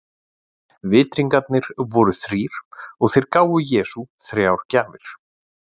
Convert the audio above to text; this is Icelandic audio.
Vitringarnir voru þrír og þeir gáfu Jesú þrjár gjafir.